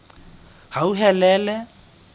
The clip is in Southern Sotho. hauhelele